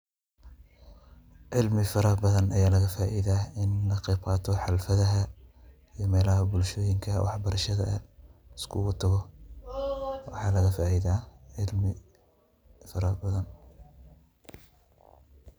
Ceelmi farabathan Aya laga faitha kaqeebqatoh waxa ee meelaha bulshoyinka liskugu tagoh, waxan laga faitha wax farabathan.